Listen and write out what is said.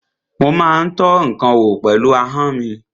Mo má ń tọ́ ǹkan wò pẹ̀lú ahọ́n mi.